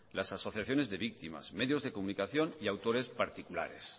las asociaciones de víctimas medios de comunicación y autores particulares